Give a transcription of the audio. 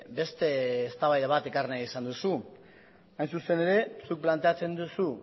beste eztabaida bat ekarri nahi izan duzu hain zuzen ere zuk planteatzen duzu